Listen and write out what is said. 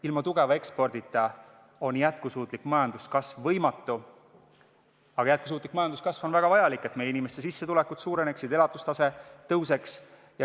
Ilma tugeva ekspordita on jätkusuutlik majanduskasv võimatu, aga jätkusuutlik majanduskasv on väga vajalik, et meie inimeste sissetulekud suureneksid, elatustase tõuseks.